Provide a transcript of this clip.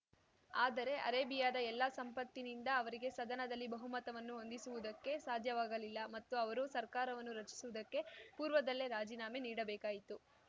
ಆದರೆ ಅರೇಬಿಯಾದ ಎಲ್ಲ ಸಂಪತ್ತಿನಿಂದ ಅವರಿಗೆ ಸದನದಲ್ಲಿ ಬಹುಮತವನ್ನು ಹೊಂದಿಸುವುದಕ್ಕೆ ಸಾಧ್ಯವಾಗಲಿಲ್ಲ ಮತ್ತು ಅವರು ಸರ್ಕಾರವನ್ನು ರಚಿಸುವುದಕ್ಕೆ ಪೂರ್ವದಲ್ಲೇ ರಾಜೀನಾಮೆ ನೀಡಬೇಕಾಯಿತು